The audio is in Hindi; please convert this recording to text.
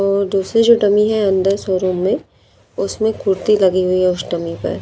और दूसरी जो डमी है अंदर शोरूम में उसमें कुर्ती लगी हुई है उस डमी पर--